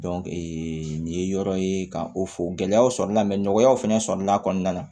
nin ye yɔrɔ ye ka o fɔ gɛlɛyaw sɔrɔ la nɔgɔyaw fana sɔrɔ la a kɔnɔna na